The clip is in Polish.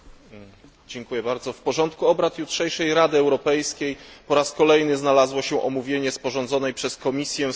W porządku obrad jutrzejszej Rady Europejskiej po raz kolejny znalazło się omówienie sporządzonej przez Komisję strategii Europa